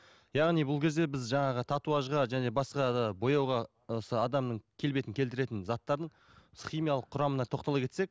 яғни бұл кезде біз жаңағы татуажға және басқа да бояуға осы адамның келбетін келтіретін заттардың химиялық құрамына тоқтала кетсек